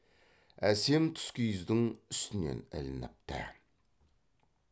әсем тұскиіздің үстінен ілініпті